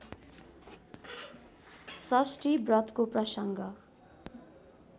षष्ठी व्रतको प्रसङ्ग